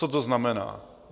Co to znamená?